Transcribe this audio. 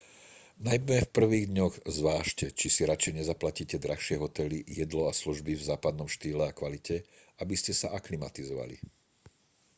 najmä v prvých dňoch zvážte či si radšej nezaplatíte drahšie hotely jedlo a služby v západnom štýle a kvalite aby ste sa aklimatizovali